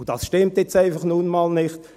» Dies stimmt nun mal einfach nicht.